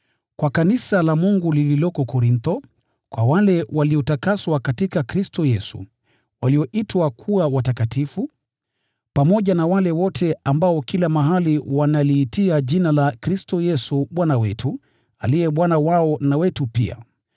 Kwa kanisa la Mungu lililoko Korintho, kwa wale waliotakaswa katika Kristo Yesu na walioitwa kuwa watakatifu, pamoja na wale wote ambao kila mahali wanaliitia Jina la Kristo Yesu Bwana wetu, aliye Bwana wao na wetu pia: